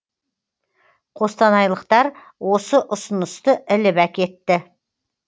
қостанайлықтар осы ұсынысты іліп әкетті